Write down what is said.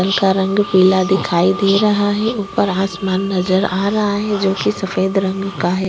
का रंग पीला दिखाई दे रहा है ऊपर आसमान नज़र आ रहा है जोकि सफेद रंग का हैं।